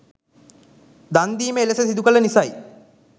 දන්දීම එලෙස සිදුකළ නිසයි.